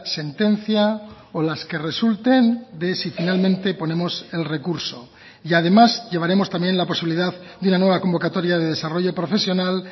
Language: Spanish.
sentencia o las que resulten de si finalmente ponemos el recurso y además llevaremos también la posibilidad de una nueva convocatoria de desarrollo profesional